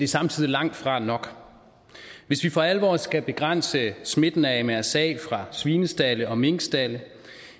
samtidig langtfra nok hvis vi for alvor skal begrænse smitten af mrsa fra svinestalde og minkstalde